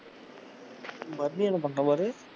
மத்தியானம் பண்ரான் பாரு,